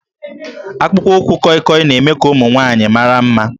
Akpụkpọ ụkwụ kọịkọị na-eme ka ụmụ nwanyị mara mma